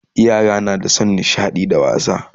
Yara na da San nishaɗi da wasa